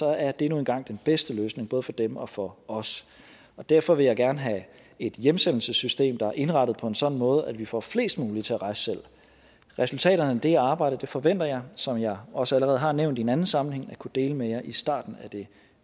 er det nu engang den bedste løsning både for dem og for os derfor vil jeg gerne have et hjemsendelsessystem der er indrettet på en sådan måde at vi får flest mulige til at rejse selv resultaterne af det arbejde forventer jeg som jeg også allerede har nævnt i en anden sammenhæng at kunne dele med jer i starten af det